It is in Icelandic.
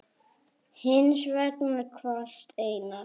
Hins vegar kvaðst Einar